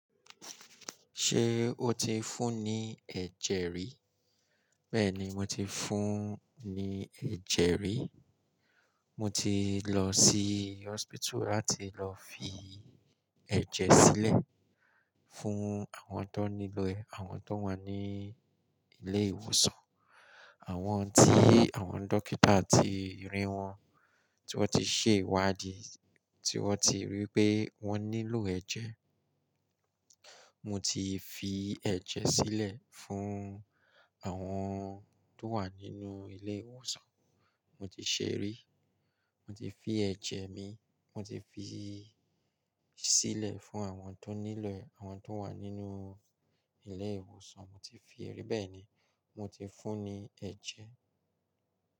Ṣé o ti fún ní ẹ̀jẹ̀ rí? Bẹ́ẹ̀ni, mo ti fún ní ẹ̀jẹ̀ rí. Mo ti lọ sí hospital láti lọ fi ẹ̀jẹ̀ sílẹ̀ fún àwọn tó nílò ẹ̀, àwọn tó wà ní ilé ìwòsàn, àwọn tí àwọn dókítà ti rí wọ́n, tí wọ́n ti ṣe ìwádìí, tí wọ́n ti rí pé wọ́n nílò ẹ̀jẹ̀. Mo ti fi ẹ̀jẹ̀ sílẹ̀ fún àwọn tó wà nínú ilé ìwòsàn, mo ti ṣẹ rí. Mo ti fi ẹ̀jẹ̀ mi, mo ti fi sílẹ̀ fún àwọn tó nílò ẹ̀, àwọn tó wà nínú ilé ìwòsàn, mo ti fi lẹ ri. Bẹ́ẹ̀ ni, mo ti fún ní ẹ̀jẹ̀.